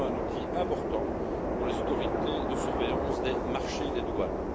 C'est également un outil important pour les autorités de surveillance des marchés et des douanes.